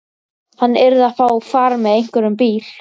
Hann yrði að fá far með einhverjum bíl.